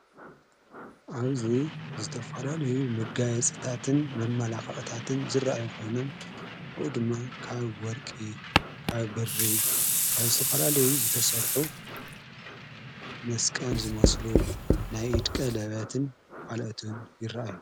ኣብዙይ ዝተፋላልዩ ምጋይ ጽታትን መመላኽቕታትን ዝረ ይኾይኖም ኦኡ ድማ ካብ ወርቂ ካብ ብሪ ካብ ዝተፈላልዩ ዝተሠርሑ መስቀል ዝመስሉ ናይ ኢድቀ ለበያትን ካልአቱን ይረአእዩ።